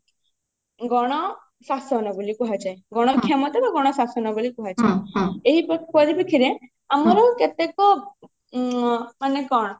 ଗଣ ଶାସନ ବୋଲି କୁହାଯାଏ ଗଣ କ୍ଷମତା ବା ଗଣ ଶାସନ ବୋଲି କୁହାଯାଏ ଏହି ପରିପ୍ରେକ୍ଷ ରେ ଆମରି କେତେକ ଉଁ ମାନେ କଣ